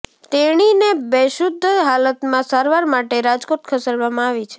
તેણીને બેશુધ્ધ હાલતમાં સારવાર માટે રાજકોટ ખસેડવામાં આવી છે